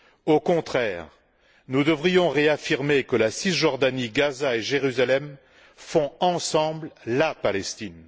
Au contraire, nous devrions réaffirmer que la Cisjordanie, Gaza et Jérusalem font ensemble la Palestine.